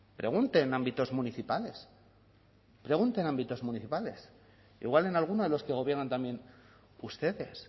pregunte en ámbitos municipales pregunte en ámbitos municipales igual en alguno de los que gobiernan también ustedes